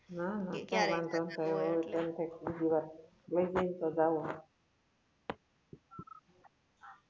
ના ના કઈ વાંધો નતો આયવો હવે તો એમ થાય કે બીજી વાર લઇ જાય તો જાવું